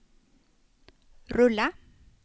rulla